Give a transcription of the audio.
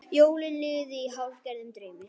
Jólin liðu í hálfgerðum draumi.